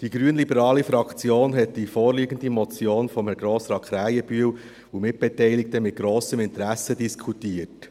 Die grünliberale Fraktion hat die vorliegende Motion von Herrn Grossrat Krähenbühl und Mitbeteiligten mit grossem Interesse diskutiert.